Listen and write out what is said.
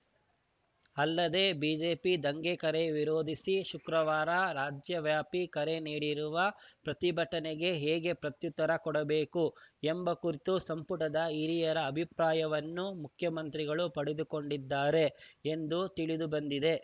ಅಲ್ಲದೆ ಬಿಜೆಪಿ ದಂಗೆ ಕರೆ ವಿರೋಧಿಸಿ ಶುಕ್ರವಾರ ರಾಜ್ಯವ್ಯಾಪಿ ಕರೆ ನೀಡಿರುವ ಪ್ರತಿಭಟನೆಗೆ ಹೇಗೆ ಪ್ರತ್ಯುತ್ತರ ಕೊಡಬೇಕು ಎಂಬ ಕುರಿತು ಸಂಪುಟದ ಹಿರಿಯರ ಅಭಿಪ್ರಾಯವನ್ನು ಮುಖ್ಯಮಂತ್ರಿಗಳು ಪಡೆದುಕೊಂಡಿದ್ದಾರೆ ಎಂದು ತಿಳಿದು ಬಂದಿದೆ